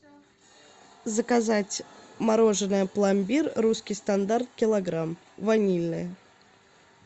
заказать мороженое пломбир русский стандарт килограмм ванильное